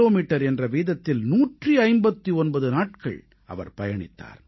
metre என்ற வீதத்தில் 159 நாட்கள் அவர் பயணித்தார்